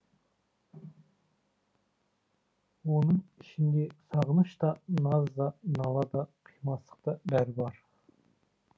оның ішінде сағыныш та наз да нала да қимастық та бәрі бар